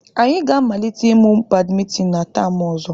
Anyị ga-amalite ịmụ badimintin na tam ọzọ.